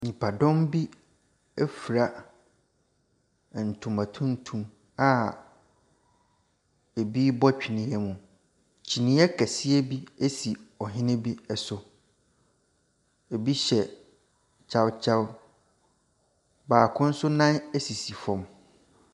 Nipadɔm bi ɛfira ntoma tuntum a ebi bɔ twene mu. kyiniiɛ kɛseɛ bi esi ɔhene bi so. Ebi hyɛ kyawkyaw. Baako nso nan esisi fam.